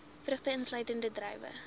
vrugte uitsluitend druiwe